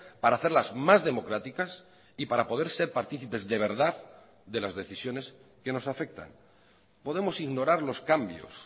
para hacerlas más democráticas y para poder ser partícipes de verdad de las decisiones que nos afectan podemos ignorar los cambios